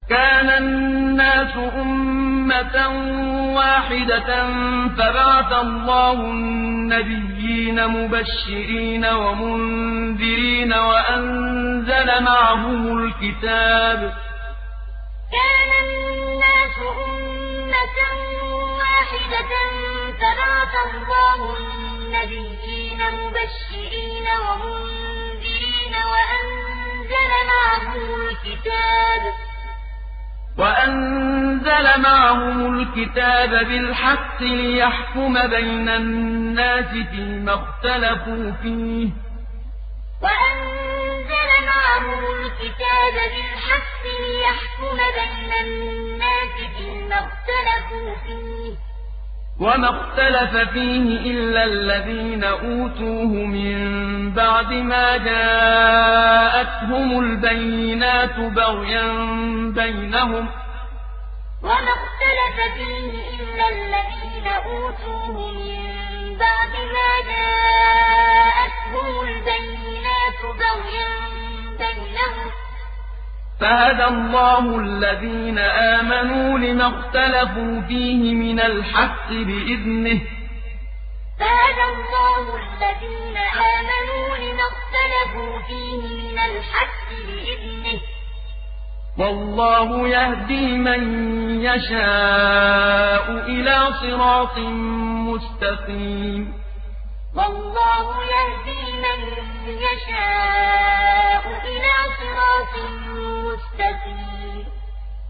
كَانَ النَّاسُ أُمَّةً وَاحِدَةً فَبَعَثَ اللَّهُ النَّبِيِّينَ مُبَشِّرِينَ وَمُنذِرِينَ وَأَنزَلَ مَعَهُمُ الْكِتَابَ بِالْحَقِّ لِيَحْكُمَ بَيْنَ النَّاسِ فِيمَا اخْتَلَفُوا فِيهِ ۚ وَمَا اخْتَلَفَ فِيهِ إِلَّا الَّذِينَ أُوتُوهُ مِن بَعْدِ مَا جَاءَتْهُمُ الْبَيِّنَاتُ بَغْيًا بَيْنَهُمْ ۖ فَهَدَى اللَّهُ الَّذِينَ آمَنُوا لِمَا اخْتَلَفُوا فِيهِ مِنَ الْحَقِّ بِإِذْنِهِ ۗ وَاللَّهُ يَهْدِي مَن يَشَاءُ إِلَىٰ صِرَاطٍ مُّسْتَقِيمٍ كَانَ النَّاسُ أُمَّةً وَاحِدَةً فَبَعَثَ اللَّهُ النَّبِيِّينَ مُبَشِّرِينَ وَمُنذِرِينَ وَأَنزَلَ مَعَهُمُ الْكِتَابَ بِالْحَقِّ لِيَحْكُمَ بَيْنَ النَّاسِ فِيمَا اخْتَلَفُوا فِيهِ ۚ وَمَا اخْتَلَفَ فِيهِ إِلَّا الَّذِينَ أُوتُوهُ مِن بَعْدِ مَا جَاءَتْهُمُ الْبَيِّنَاتُ بَغْيًا بَيْنَهُمْ ۖ فَهَدَى اللَّهُ الَّذِينَ آمَنُوا لِمَا اخْتَلَفُوا فِيهِ مِنَ الْحَقِّ بِإِذْنِهِ ۗ وَاللَّهُ يَهْدِي مَن يَشَاءُ إِلَىٰ صِرَاطٍ مُّسْتَقِيمٍ